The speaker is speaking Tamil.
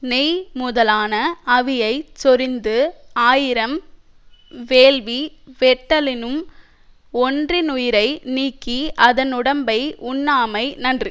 நெய் முதலான அவியைச் சொரிந்து ஆயிரம் வேள்வி வெட்டலினும் ஒன்றினுயிரை நீக்கி அதனுடம்பை உண்ணாமை நன்று